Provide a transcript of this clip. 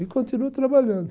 E continuo trabalhando.